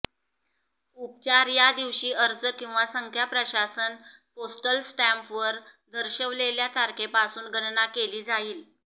उपचार या दिवशी अर्ज किंवा संख्या प्रशासन पोस्टल स्टॅम्प वर दर्शविलेल्या तारखेपासून गणना केली जाईल